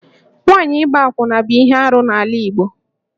Nwaanyị ịgba akwụna bụ ihe arụ n'ala Igbo